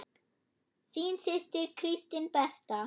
Þín systir, Kristín Berta.